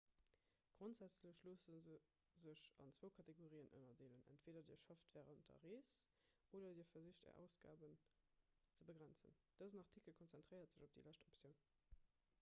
grondsätzlech loosse se sech an zwou kategorien ënnerdeelen entweeder dir schafft wärend der rees oder dir versicht är ausgaben ze begrenzen dësen artikel konzentréiert sech op déi lescht optioun